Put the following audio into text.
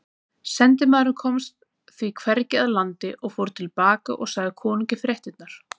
Sendimaðurinn komst því hvergi að landi og fór til baka og sagði konungi fréttirnar.